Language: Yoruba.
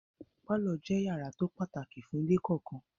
Pálọ̀ jẹ́ yàrá tó pàtàkì fún ilé kọ̀ọ̀kan.